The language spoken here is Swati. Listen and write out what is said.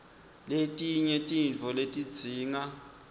letinye tintfo letidzinga